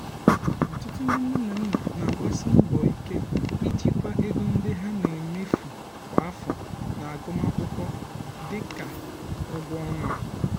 ọtụtụ um ndị nne na nna na-agbasi mbọ ike ijikwa ego ndị um ha na-emefu kwa afọ n'agụmakwụkwọ dị ka ụgwọ ọnwa.